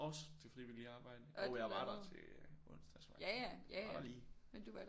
Også til frivilligt arbejde og jeg var der til onsdag tror jeg jeg var der lige